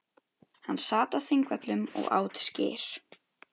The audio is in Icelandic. Hann sat á Þingvöllum og át skyr.